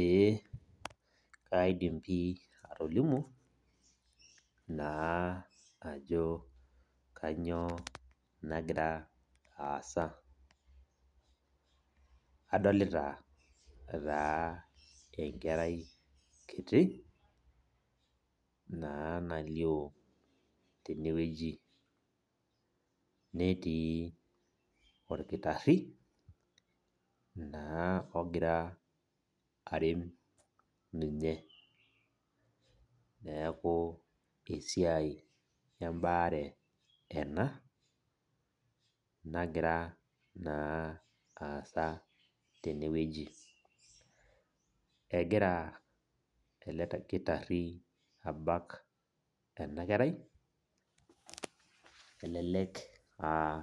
Ee kaidim pi atolimu, naa ajo kanyioo nagira aasa. Adolita taa enkerai kiti, naa nalio tenewueji. Netii orkitarri, naa ogira arem ninye. Neeku esiai ebaare ena, nagira naa aasa tenewueji. Egira ele kitarri abak ena kerai, elelek ah